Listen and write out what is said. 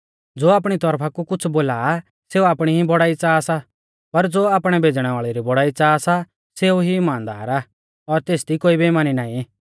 ज़ो आपणी तौरफा कु कुछ़ बोला आ सेऊ आपणी ई बौड़ाई च़ाहा सा पर ज़ो आपणै भेज़णै वाल़ै री बौड़ाई च़ाहा सा सेऊ ई इमानदार आ और तेसदी कोई बेइमानी नाईं